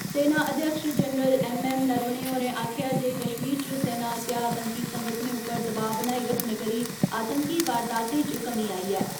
सेना अध्यक्ष general M M Naravane होरें आक्खेआ ऐ जे कश्मीर च सेना आस्सेआ आतंकी संगठनें उप्पर दबाऽ बनाई रखने करी आतंकी वारदातें च कमी आई ऐ।